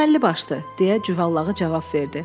Əməlli başlı, deyə Cüvəllağı cavab verdi.